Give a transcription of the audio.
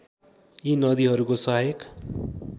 यी नदीहरूको सहायक